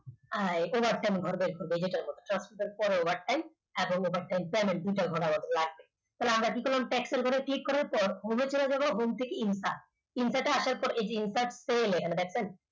এই overtime ঘর বের করব এই যে এটার মত পরে overtime এবং overtime payment দুটো লাগবে তাহলে আমরা কি করলাম tax র ঘরে click করার পর home এ চলে যাব home এ insert insert এ আসার পর এই যে insert sell এখানে দেখছেন